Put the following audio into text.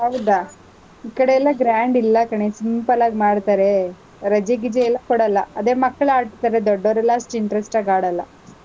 ಹೌದಾ ಈ ಕಡೆ ಎಲ್ಲಾ grand ಇಲ್ಲಾ ಕಣೇ, simple ಆಗ್ ಮಾಡ್ತಾರೆ, ರಜೆ ಗಿಜೆ ಎಲ್ಲಾ ಕೊಡಲ್ಲ. ಅದೇ ಮಕ್ಳ್ ಆಡ್ತಾರೆ, ದೊಡ್ಡೋರೆಲ್ಲ ಅಷ್ಟ್ interest ಆಗ್ ಆಡಲ್ಲ.